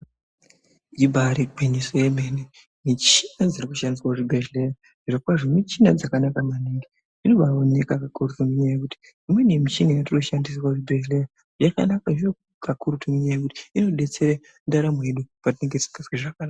Ibari gwinyiso remene muchini dzirikushandiswa kuchibhehlera zvirokwazvo michini dzakanaka maningi inobaioneka ngenyaya yekutiimweni michini yatoshandisa kuzvibhehlera yakanakazvo kakurutu ngenyaya yekuti inobetsera patinenge tisingazwi zvakanaka